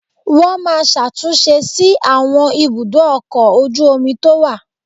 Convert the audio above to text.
Wọ́n máa ṣàtúnṣe sí àwọn ibùdó ọkọ̀ ojú omi tó wà